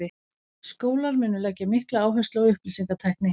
Skólar munu leggja mikla áherslu á upplýsingatækni.